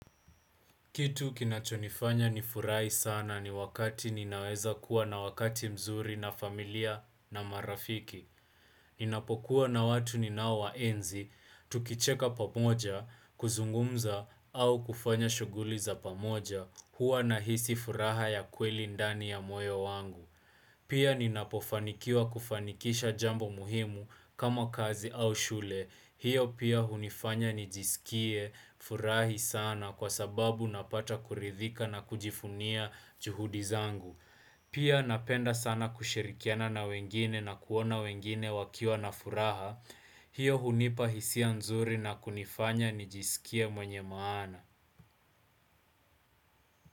Kitu kinachonifanya ni furahi sana ni wakati ninaweza kuwa na wakati mzuri na familia na marafiki. Ninapokuwa na watu ninao waenzi, tukicheka pamoja, kuzungumza, au kufanya shughuli za pamoja, huwa nahisi furaha ya kweli ndani ya moyo wangu. Pia ninapofanikiwa kufanikisha jambo muhimu kama kazi au shule. Hiyo pia hunifanya nijisikie furahi sana kwa sababu napata kuridhika na kujifunia juhudi zangu. Pia napenda sana kushirikiana na wengine na kuona wengine wakiwa na furaha. Hiyo hunipa hisia nzuri na kunifanya nijisikie mwenye maana.